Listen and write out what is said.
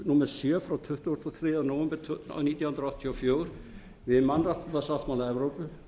númer sjö frá tuttugasta og þriðja nóvember nítján hundruð áttatíu og fjögur við mannréttindasáttmála evrópu